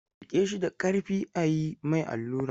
Riƙe shi da ƙarfi a yi mai allura!